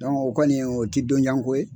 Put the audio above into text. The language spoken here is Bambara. o kɔni o ti don jan ko ye.